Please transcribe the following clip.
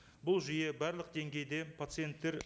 бұл жүйе барлық деңгейде пациенттер